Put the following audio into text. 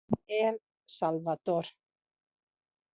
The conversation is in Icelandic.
El Salvador